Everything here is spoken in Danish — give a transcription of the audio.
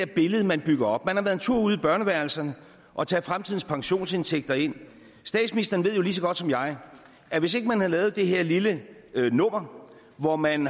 billede man bygger op man har været en tur ude i børneværelserne og taget fremtidens pensionsindtægter ind statsministeren ved jo lige så godt som jeg at hvis ikke man havde lavet det her lille nummer hvor man